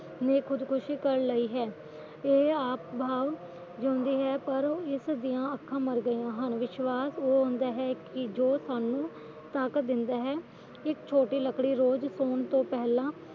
ਨੇ ਖੁਦਕੁਸ਼ੀ ਕਰ ਲਈ ਹੈ ਇਹ ਆਪ ਤਾ ਜਿਉਂਦੀ ਹੈ ਪਰ ਇਸ ਦੀਆਂ ਅੱਖਾਂ ਮਰ ਗੀਆਂ ਹਨ ਵਿਸ਼ਵਾਸ਼ ਉਹ ਹੁੰਦਾ ਹੈ ਕਿ ਜੋ ਸਾਨੂੰ ਤਾਕਤ ਦਿੰਦਾ ਹੈ ਇਕ ਛੋਟੀ ਲੱਕੜੀ ਰੋਜ ਸੋਣ ਤੋ ਪਹਿਲਾਂ